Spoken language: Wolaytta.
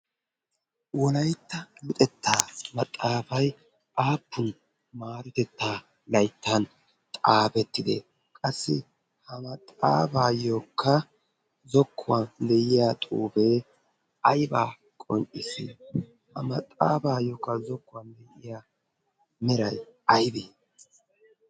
Wolaytta luxetta maxaafay aappun luxetta layttan xaafetide? Qassi ha maxafayokka zokuwan de'iyaa xuufee aybba qonccissi? Ha maxafayokka zokkuwan de'iya meray aybbee?